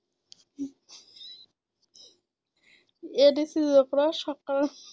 AIDS ৰোগ সক্ৰ